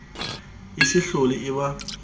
e se hlole e ba